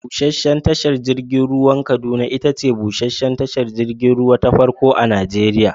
Busheshen tashar jirgin ruwan Kaduna itace busheshen tashar jirgin ruwa ta farko a Najeriya.